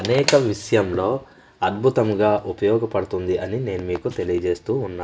అనేక విష్యంలో అద్భుతముగా ఉపయోగపడుతుంది అని నేను మీకు తెలియజేస్తూ ఉన్నా--